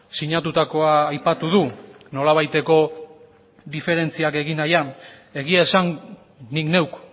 sinatutakoa aipatu du nolabaiteko diferentziak egin nahian egia esan nik neuk